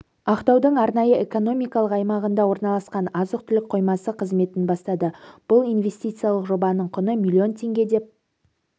ақтаудың арнайы экономикалық аймағында орналасқан азық-түлік қоймасы қызметін бастады бұл инвестициялық жобаның құны миллион теңге деп